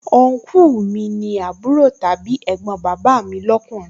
Ọnkúù mi ni àbúrò tàbí ẹ̀gbọ́n bàbà mi lọ́kùnrin